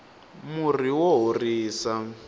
murhi wa horisa